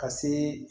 Ka se